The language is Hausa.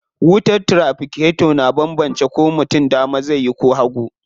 Wutar tiraficator na banbance ko mutum dama zai yi ko hagu.